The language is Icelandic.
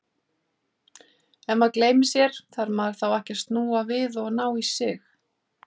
Ef maður gleymir sér, þarf maður þá ekki að snúa við og ná í sig?